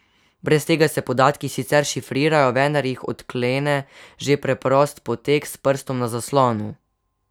Brez tega se podatki sicer šifrirajo, vendar jih odklene že preprost poteg s prstom za zaslonu.